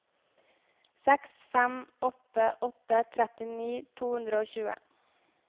seks fem åtte åtte trettini to hundre og tjue